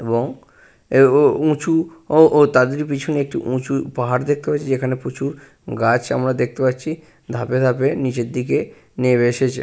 এবং এব উঁচু ও ও তাদের পিছনে একটু উঁচু পাহাড় দেখতে পাচ্ছি যেখানে প্রচুর গাছ আমরা দেখতে পাচ্ছি ধাপে ধাপে নিচের দিকে নেমে এসেছে।